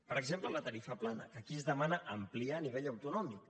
per exemple la tarifa plana que aquí es demana ampliar a nivell autonòmic